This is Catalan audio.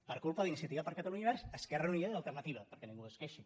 per culpa d’iniciativa per catalunya verds esquerra unida i alternativa perquè ningú es queixi